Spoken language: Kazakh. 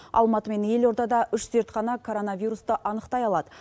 алматы мен елордада үш зертхана коронавирусты анықтай алады